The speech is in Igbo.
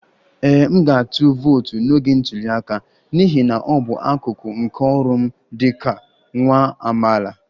Ee, m ga-atụ vootu n'oge ntuli aka n'ihi na ọ bụ akụkụ nke ọrụ m dị ka nwa amaala